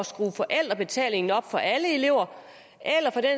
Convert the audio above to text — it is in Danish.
skrue forældrebetalingen op for alle elever